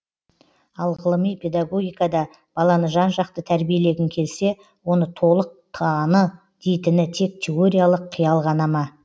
ал ғылыми педагогикада баланы жан жақты тәрбиелегің келсе оны толық таны дейтіні тек теориялық қиял ғана ма